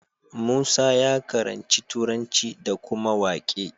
Musa ya karanci turanci da kuma waƙe